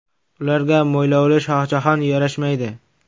Ularga mo‘ylovli Shohjahon yarashmaydi.